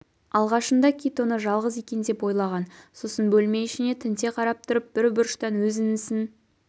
алғашында кит оны жалғыз екен деп ойлаған сосын бөлме ішіне тінте қарап тұрып бір бұрыштан өз інісін